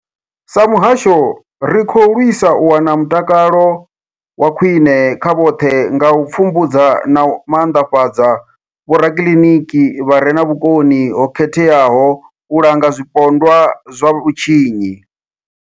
Sa muhasho, ri khou lwisa u wana mutakalo wa khwine kha vhoṱhe nga u pfumbudza na u maanḓafhadza vhorakiliniki vha re na vhukoni ho khetheaho u langa zwipondwa zwa vhutshinyi.